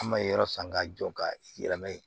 An ma ye yɔrɔ san k'a jɔ ka yɛlɛma yen